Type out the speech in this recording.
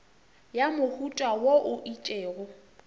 ya mohuta wo o itšego